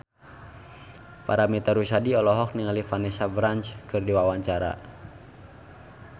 Paramitha Rusady olohok ningali Vanessa Branch keur diwawancara